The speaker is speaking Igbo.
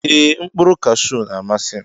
Eeh mkpuru kashu na amasim.